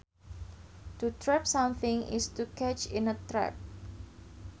To trap something is to catch in a trap